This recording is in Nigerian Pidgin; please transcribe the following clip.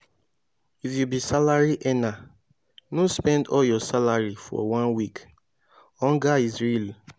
if you be salary earner no spend all your salary for one week hunger is real